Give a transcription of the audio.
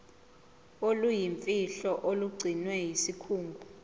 oluyimfihlo olugcinwe yisikhungo